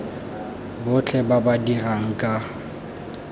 botlhe ba ba dirang ka